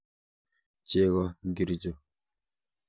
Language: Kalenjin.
Cheko ngircho?